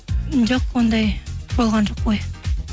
жоқ ондай болған жоқ ой